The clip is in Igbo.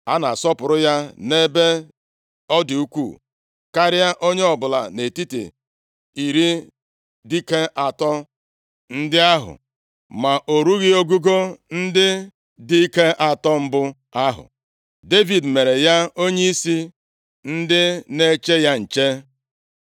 A na-asọpụrụ ya nʼebe ọ dị ukwuu karịa onye ọbụla nʼetiti iri dike atọ ndị ahụ, ma o rughị ogugo ndị dike atọ mbụ ahụ. Devid mere ya onyeisi ndị na-eche ya nche.